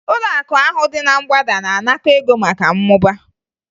Ụlọakụ ahụ dị na mgbada na-anakọ ego maka mmụba